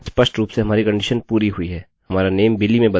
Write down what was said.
अतः हमारा लूपloop यहाँ पर रुक गया है